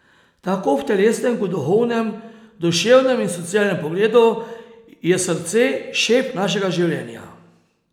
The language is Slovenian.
Tako v telesnem kot duhovnem, duševnem in socialnem pogledu je srce šef našega življenja.